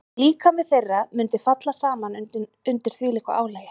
Líkami þeirra mundi falla saman undir þvílíku álagi.